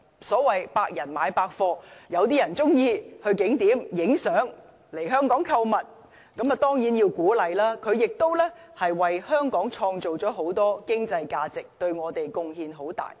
所謂"百人買百貨"，有些人喜歡到景點拍照，來香港購物，當然要鼓勵，他們為香港帶來很大的經濟效益。